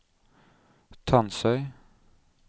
Tansøy